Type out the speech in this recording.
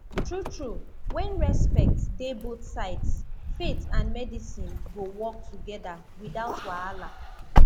true true when respect dey both sides faith and medicine go work together without wahala